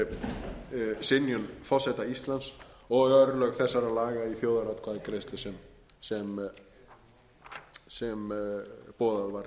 yfir synjun forseta íslands og örlög þessara laga í þjóðaratkvæðagreiðslu sem boðað var